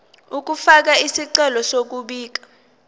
ukufaka isicelo sokubika